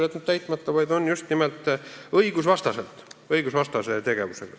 Nad on tegutsenud just nimelt õigusvastaselt.